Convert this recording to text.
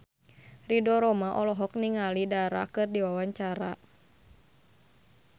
Ridho Roma olohok ningali Dara keur diwawancara